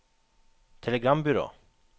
telegrambyrå